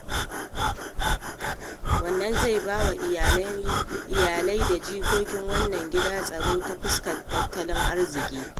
Wannan zai bai wa iyalai da jikokin wannan gida tsaro ta fuskar tattalin arziki.